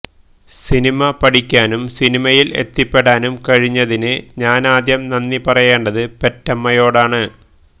cinema പഠിക്കാനും സിനിമയില് എത്തിപ്പെടാനും കഴിഞ്ഞതിന് ഞാനാദ്യം നന്ദിപറയേണ്ടത് പെറ്റമ്മയോടാണ്